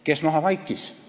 Kes maha vaikis?